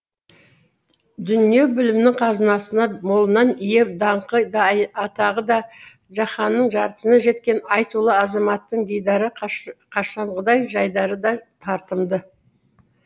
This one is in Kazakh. дүние білімінің қазынасына молынан ие даңқы да атағы да жаһанның жартысына жеткен айтулы азаматтың дидары қашанғыдай жайдары да тартымды